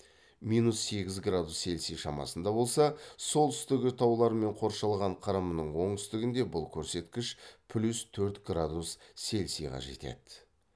минус сегіз градус цельсий шамасында болса солтүстігі таулармен қоршалған қырымның оңтүстігінде бұл көрсеткіш плюс төрт градус цельсийға жетеді